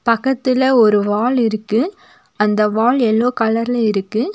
பக்கத்துல ஒரு வால் இருக்கு அந்த வால் எல்லோ கலர்ல இருக்கு.